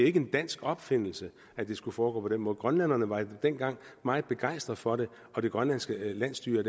ikke en dansk opfindelse at det skulle foregå på den måde grønlænderne var dengang meget begejstrede for det og det grønlandske landsstyre